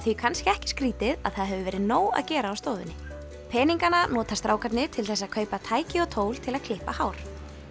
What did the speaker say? því kannski ekki skrítið að það hefur verið nóg að gera á stofunni peningana nota strákarnir til þess að kaupa tæki og tól til að klippa hár